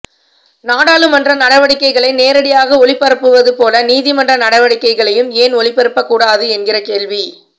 நாடாளுமன்ற நடவடிக்கைகளை நேரடியாக ஒளிபரப்புவது போல நீதிமன்ற நடவடிக்கைகளையும் ஏன் ஒளிபரப்பக்கூடாது என்கிற கேள்வி